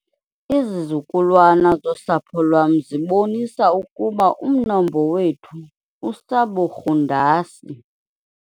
Izizukulwana zosapho lwam zibonisa ukuba umnombo wethu usaburhundasi.